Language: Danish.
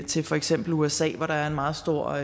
til for eksempel usa hvor der er en meget stor